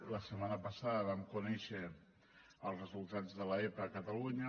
la setmana passada vam conèixer els resultats de l’epa a catalunya